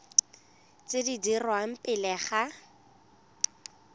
tse di dirwang pele ga